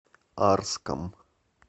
арском